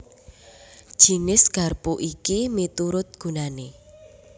Jinis garpu iki miturut gunané